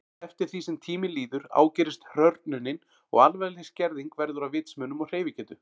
Eftir því sem tíminn líður ágerist hrörnunin og alvarleg skerðing verður á vitsmunum og hreyfigetu.